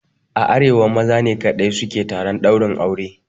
A arewa maza ne kaɗai su ke taron ɗaurin aure.